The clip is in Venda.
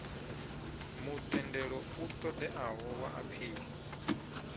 mutendelo u ṱoḓeaho wa aphili